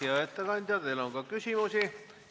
Hea ettekandja, teile on ka küsimusi.